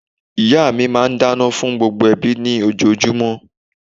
Ìyá mi máa n dáná fún gbogbo ẹbí ní ojojúmó